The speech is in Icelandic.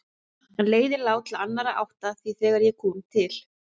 En leiðin lá til annarrar áttar því þegar ég kom til